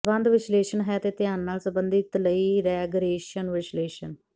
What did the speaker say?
ਸਬੰਧ ਵਿਸ਼ਲੇਸ਼ਣ ਹੈ ਧਿਆਨ ਨਾਲ ਸਬੰਧਿਤ ਲਈ ਰੈਗਰੈਸ਼ਨ ਵਿਸ਼ਲੇਸ਼ਣ